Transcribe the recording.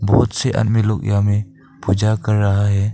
खुद से आदमी लोग यहां में पूजा कर रहा है।